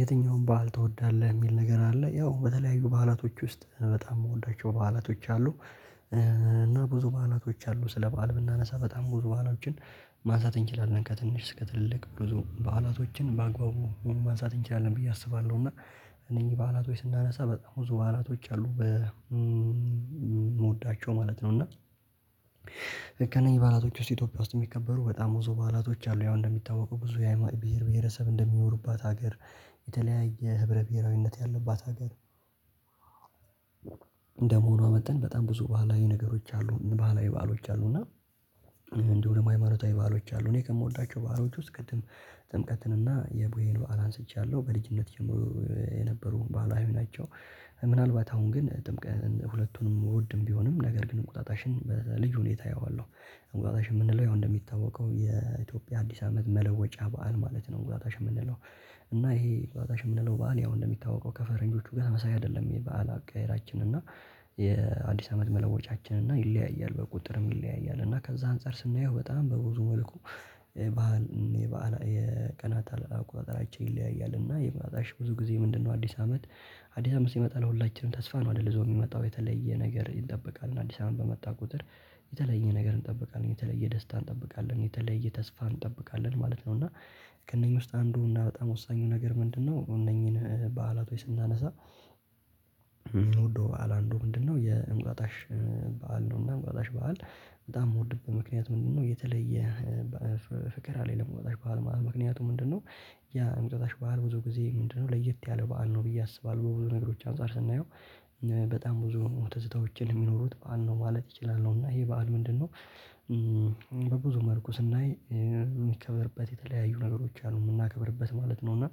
የትኛውም ባህል ትወዳለህ የሚል ነገር አለ ያው በተለያዩ ባህላቶች ውስጥ በጣም የምወዳቸው በዓላቶች አሉ። እና ብዙ በዓላቶች አሉ ስለ በዓል ብናነሳ በጣም ብዙ በዓላቶችን ማንሳት እንችላለን ከትንሽ ስክ ከትልቅ ብዙ በዓላቶችን በአግባቡ ሁሉ ማንሳት እንችላለን ብዬ አስባለሁ። እና እነኚህ በዓላቶች ስናነሳ በጣም በዓላቶች አሉ በ ምወዳቸው ማለት ነው። እና ከእነኚህ በዓላቶች ውስጥ ኢትዮጵያ ውስጥ የሚከበሩ በጣም ወዞ በዓላቶች አሉ። ያው እንደሚታወቁ ብዙ አይነት ብሄር ብሄረሰብ እንደሚኖርባት ሀገር። የተለያየ ህብረ ብሄራዊነት ያለባት ሀገር። እንደመሆኗ መጥተን በጣም ብዙ ባህላዊ ነገሮች አሉ ባህላዊ ባህሎች አሉ። እና እንደው ደግሞ ሃይማኖታዊ ባሎች አሉ እኔ ከምወዳቸው ባሎች ውስጥ ቅድም ጥምቀትን እና የቦሄሉ አላንስቻለሁ በልጅነት የነበሩ በዓላት ናቸው። ምናልባት አሁን ግን ጥምቅ ሁለቱንም እወድም ቢሆንም ነገር ግን እንቁጣጣሽን በልጁ ሁኔታ አየዋለሁ። እንቁጣጣሽ የምንለው ያው እንደሚታወቀው የኢትዮጵያ አዲስ አመት መለወጫ በዓል ማለት ነው። ጓዳሽ የምንለው እና ይሄ በዋጋሽ የምንለው በዓል ያው እንደሚታወቀው ከፈረንጆቹ ጋር ተመሳሳይ አይደለም። ይሄ በዓል አቀየራችን እና የአዲስ አመት መለወጫችን እና ይለያያል በቁጥርም ይለያያል። እና ከዛ አንፃር ስናየው በጣም በብዙ መልኩ ባህል የበአል የቀናት አቆጣጠራቸው ይለያያል። እና የበዓላት ብዙ ጊዜ ምንድነው አዲስ አመት? አዲስ አመት ሲመጣ ለሁላችንም ተስፋ ነው አይደል ልዘው የሚመጣው የተለየ ነገር ይጠብቃል። እና አዲስ አመት በመጣ ቁጥር የተለየ ነገር እንጠብቃለን የተለየ ደስታ እንጠብቃለን የተለየ ተስፋ እንጠብቃለን ማለት ነው። እና ቅንኝ ከእነኚህ ውስጥ አንዱ በጣም ወሳኙ ነገር ምንድነው? እነኚህን በዓላት ስናነሳ የምንወደው አላንዱ ምንድነው? የእንቁጣጣሽ በዓል ነው። እና እንቁጣጣሽ በዓል በጣም የምወድብህ ምክንያት ምንድነው? የተለየ ፍቅር ላይ ለመውጣት በዓል ማለት ምክንያቱም ምንድነው? ያ እምጥታሽ በዓል ብዙ ጊዜ ምንድነው ለየት ያለው በዓል ነው ብዬ አስባለሁ። በብዙ ነገሮች አንፃር ስናየው በጣም ብዙ ሞተትታዎችን የሚኖሩት በዓል ነው ማለት ይችላሉ። ነው እና ይሄ በዓል ምንድነው? በብዙ መልኩ ስናይ የሚከብርበት የተለያዩ ነገሮች አሉ የምናከብርበት ማለት ነው። እና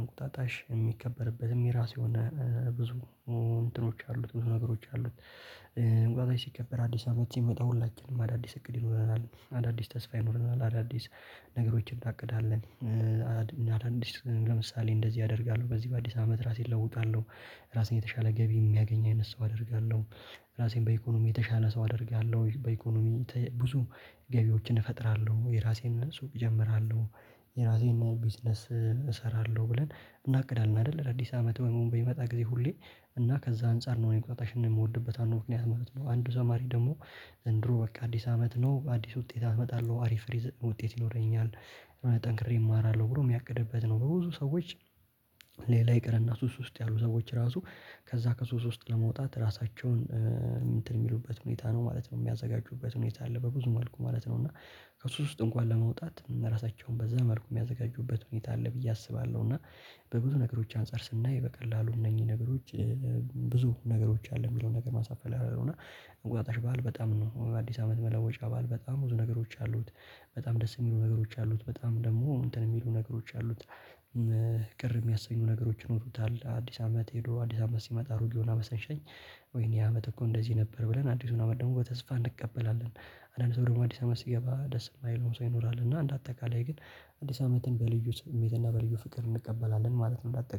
እንቁጣጣሽ የሚከበርበትም የራሱ የሆነ ብዙ እንትኖች አሉት ነገሮች አሉት። ጓዛዬ ሲከበር አዲስ አመት ሲመጣ ሁላችንም አዳዲስ እቅድ ይኖረናል አዳዲስ ተስፋ ይኖረናል አዳዲስ ነገሮችን እናቅዳለን። አላንዲስ ለምሳሌ እንደዚህ አደርጋለሁ በዚህ በአዲስ አመት ራሴን እለውጣለሁ። ራሴን የተሻለ ገቢ የሚያገኝ አይነት ሰው አደርጋለሁ። ራሴን በኢኮኖሚ የተሻለ ሰው አደርጋለሁ። በኢኮኖሚ ብዙ ገቢዎችን እፈጥራለሁ የራሴን ሱቅ እጀምራለሁ። የራሴን ቢዝነስ እሰራለሁ ብለን እናቅዳለን አይደል? ለአዲስ አመት ወይም በሚመጣ በይመጣ ጊዜ ሁሌ እና ከዛ አንፃር ነው የምትወድበት አለው ምክንያት ማለት ነው። አንዱ ዘማሪ ደግሞ ዘንድሮ በቃ አዲስ አመት ነው አዲስ ውጤት አመጣለሁ አሪፍ ሪዝን ውጤት ይኖረኛል። ጠንክሬ እማራለሁ ብሎ የሚያቅድበት ነው። በብዙ ሰዎች ሌላ ይቅርና ሶስት ውስጥ ያሉ ሰዎች ራሱ ከዛ ከሶስት ውስጥ ለመውጣት ራሳቸውን እንትን የሚሉበት ሁኔታ ነው ማለት ነው። የሚያዘጋጁበት ሁኔታ አለ በብዙ መልኩ ማለት ነው። እና ከሱ ውስጥ እንኳን ለመውጣት ራሳቸውን በዛ መልኩ የሚያዘጋጁበት ሁኔታ አለ ብዬ አስባለሁ። እና በብዙ ነገሮች አንፃር ስናይ በቀላሉ እነኚህ ነገሮች። ብዙ አሉ የሚለውን ነገር ማሳፈል ያለው እና እንቁጣጣሽ በዓል በጣም ነው አዲስ አመት መለወጫ በዓል በጣም ነገሮች አሉት። በጣም ደስ የሚሉ ነገሮች አሉት በጣም ደግሞ እንትን የሚሉ ነገሮች አሉት። ቅር የሚያሰኙ ነገሮች ሆኖታል። አዲስ አመት ሄዶ አዲስ አመት ሲመጣ ሩቅ የሆነ አመሰንሸኝ ወይኔ አመት እኮ እንደዚህ ነበር ብለን አዲሱን አመት ደግሞ በተስፋ እንቀበላለን። አንዳንድ ሰው ደግሞ አዲስ አመት ሲገባ ደስ የማይል ሰው ይኖራል። እና እንደ አጠቃላይ ግን አዲስ አመትን በልዩ ትምህርትና በልዩ ፍቅር እንቀበላለን ማለት ነው። እንዳትጠቀም